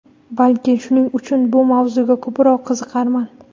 Balki shuning uchun bu mavzuga ko‘proq qiziqarman.